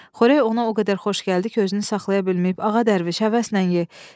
Xörək ona o qədər xoş gəldi ki, özünü saxlaya bilməyib: "Ağa dərviş, həvəslə ye!